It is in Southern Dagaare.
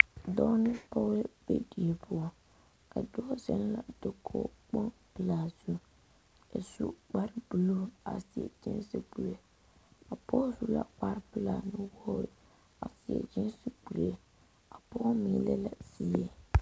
Dɔɔ ne pɔge la be die poɔ a dɔɔ zeŋ la dakogi kpoŋ pelaa zeŋ a su kpare buluu a seɛ gesi kuri a pɔge su la kpare pelaa nuwogre a seɛ gesi kuri a pɔge meŋ le la zie.